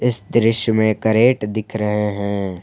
इस दृश्य में करेट दिख रहे हैं।